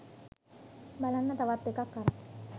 බලන්න තවත් එකක් අරන්